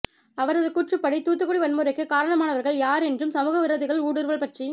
அவரது கூற்றுப்படி தூத்துக்குடி வன்முறைக்கு காரணமானவர்கள் யார் என்றும் சமூகவிரோதிகள் ஊடுருவல் பற்றி